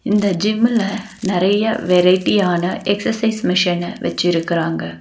இந்த ஜிம்முல நறைய வெரைட்டியான எக்சர்சைஸ் மிஷின வெச்சிருக்குறாங்க.